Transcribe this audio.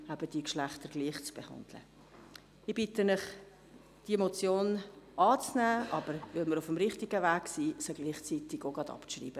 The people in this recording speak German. Ich bitte Sie, diese Motion anzunehmen und sie, da wir uns bereits auf dem richtigen Weg befinden, gleichzeitig abzuschreiben.